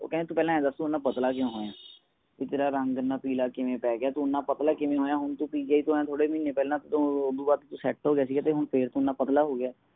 ਉਹ ਕਹਿੰਦੇ ਤੂੰ ਪਹਿਲਾ ਇਹ ਦਸ ਤੂੰ ਇਹਨਾਂ ਪਤਲਾ ਕਿਉਂ ਹੋਇਆ ਹੈ ਬੀ ਤੇਰਾ ਰੰਗ ਇਹਨਾਂ ਪਿਲਾ ਕਿਵੇਂ ਪੈ ਗਯਾ ਤੂੰ ਇਹਨਾਂ ਪਤਲਾ ਕਿਵੇਂ ਹੋਇਆ ਹੁਣ ਤੂੰ PGI ਤੋਂ ਆਯਾ ਤੂੰ ਥੋੜੇ ਮਹੀਨੇ ਪਹਿਲਾ ਤੋਂ ਓਦੋ ਬਾਅਦ ਤੂੰ set ਹੋਗਿਆ ਸੀ ਤੇ ਹੁਣ ਤੂੰ ਫੇਰ ਇਹਨਾਂ ਪਤਲਾ ਹੋਗਿਆ ਹੈ